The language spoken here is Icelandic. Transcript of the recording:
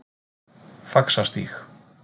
Faxastíg